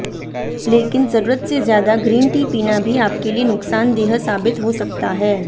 लेकिन जरूरत से ज्यादा ग्रीन टी पीना भी आपके लिए नुकसानदेह साबित हो सकता है